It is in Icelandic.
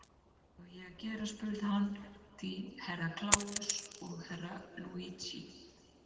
Hvað á ég að gera spurði hann því Herra Kláus og Herra Luigi.